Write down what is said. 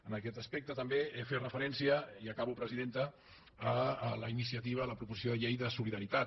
en aquest aspecte també fer referència i acabo presidenta a la iniciativa la proposició de llei de solidaritat